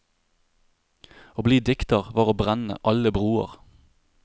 Å bli dikter var å brenne alle broer.